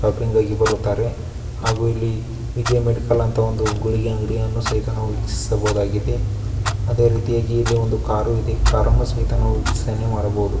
ಶಾಪಿಂಗ್ಗಾಗಿ ಬರುತ್ತಾರೆ ಹಾಗು ಇಲ್ಲಿ ವಿಜಯ ಮೆಡಿಕಲ್ ಅಂತ ಒಂದು ಗುಳಿಗೆ ಅಂಗಡಿಯನ್ನು ಸಹಿತ ನಾವು ವೀಕ್ಷಿಸಬಹುದಾಗಿದೆ. ಅದೇ ರೀತಿಯಾಗಿ ಇಲ್ಲಿ ಒಂದು ಕಾರು ಇದೆ ಕಾರನ್ನು ಸಹಿತ ನಾವು ವೀಕ್ಷಣೆ ಮಾಡಬಹುದು.